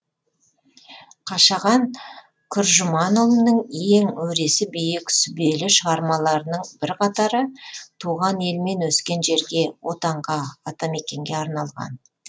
қашаған күржіманұлының ең өресі биік сүбелі шығармаларының бірқатары туған ел мен өскен жерге отанға атамекенге арналған